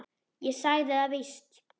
Ég sagði það víst.